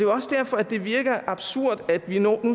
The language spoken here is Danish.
også derfor det virker absurd at vi nu